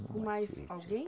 Com mais alguém?